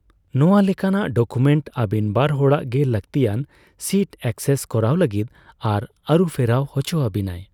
ᱱᱚᱣᱟ ᱞᱮᱠᱟᱱᱟᱜ ᱰᱚᱠᱩᱢᱮᱱᱴ ᱟᱵᱤᱱ ᱵᱟᱨ ᱦᱚᱲᱜᱮ ᱞᱟᱹᱠᱛᱤᱭᱟᱱ ᱥᱤᱴ ᱮᱠᱮᱥᱥ ᱠᱚᱨᱟᱣ ᱞᱟᱜᱤᱫ ᱟᱨ ᱟᱨᱩᱯᱷᱮᱨᱟᱣ ᱦᱚᱪᱚᱣᱟᱵᱤᱱᱟᱭ ᱾